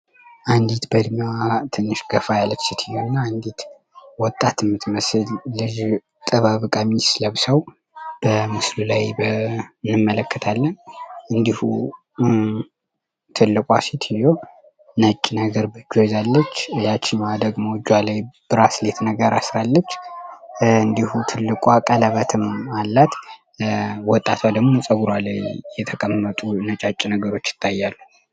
አንዲት በድሚያዋ ትንሽ ገፋ ያለች ሲትዮ ና አንዴት ወጣት ትምት መስል ልጅ ጥባብቀ ሚስለብ ሰው በምስሉ ላይ ንመለከታለን እንዲሁ ትልቋ ሴትዮ ነጭ ነገር በክሎዛለች ያችማዋ ደግማ ጇ ላይ ብራስሌትነገር አስራለች እንዲሁ ትልቋ ቀለበትም አላት ወጣት አለግሞ ጸውሯ ላይ የተቀምነጡ ነጫጭ ነገሮች ይታያሉ